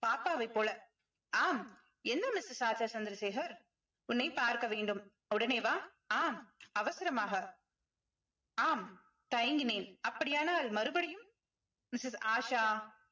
பாப்பாவைப் போல ஆம் என்ன missus ஆஷா சந்திரசேகர் உன்னை பார்க்க வேண்டும் உடனே வா ஆம் அவசரமாக ஆம் தயங்கினேன் அப்படியானால் மறுபடியும் missus ஆஷா